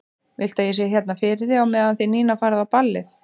Viltu að ég sé hérna fyrir þig á meðan þið Nína farið á ballið?